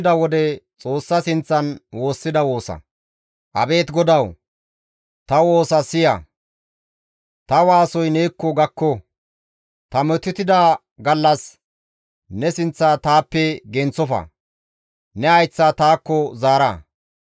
Ta metotida gallas ne sinththa taappe genththofa; ne hayththa taakko zaara; tani neekko waassiza wode taas eeson alla.